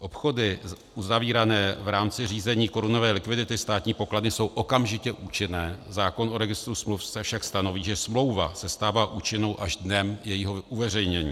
Obchody uzavírané v rámci řízení korunové likvidity státní pokladny jsou okamžitě účinné, zákon o registru smluv však stanoví, že smlouva se stává účinnou až dnem jejího uveřejnění.